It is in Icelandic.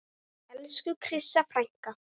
Elsku Krissa frænka.